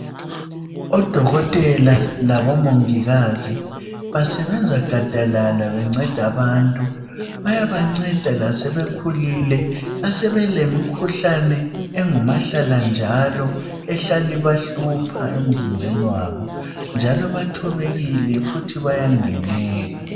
Odokotela labomongikazi basebenza gadalala benceda abantu bayabanceda lasebekhulile asebelemikhuhlane engumahlala njalo ehlala ibahlupha emizimbeni wabo njalo bathobekile futhi bayangenela.